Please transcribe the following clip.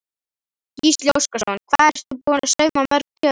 Gísli Óskarsson: Hvað ertu búin að sauma mörg tjöld?